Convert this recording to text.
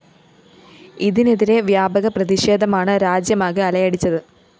ഇതിനെതിരെ വ്യാപക പ്രതിഷേധമാണ് രാജ്യമാകെ അലയടിച്ചത്